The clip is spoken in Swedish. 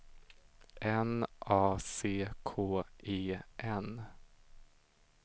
N A C K E N